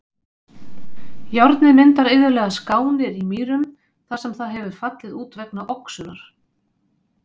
Járnið myndar iðulega skánir í mýrum þar sem það hefur fallið út vegna oxunar.